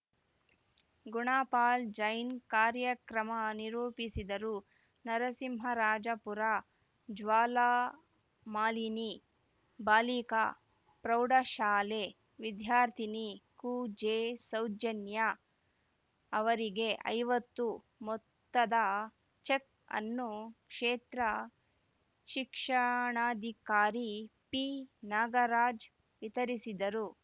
ಗುಣಪಾಲ್‌ ಜೈನ್‌ ಕಾರ್ಯಕ್ರಮ ನಿರೂಪಿಸಿದರು ನರಸಿಂಹರಾಜಪುರ ಜ್ವಾಲಾಮಾಲಿನಿ ಬಾಲಿಕಾ ಪ್ರೌಢಶಾಲೆ ವಿದ್ಯಾರ್ಥಿನಿ ಕು ಜೆಸೌಜನ್ಯ ಅವರಿಗೆ ಐವತ್ತು ಮೊತ್ತದ ಚೆಕ್‌ ಅನ್ನು ಕ್ಷೇತ್ರ ಶಿಕ್ಷಣಾಧಿಕಾರಿ ಪಿನಾಗರಾಜ್‌ ವಿತರಿಸಿದರು